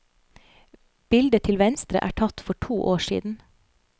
Bildet til venstre er tatt for to år siden.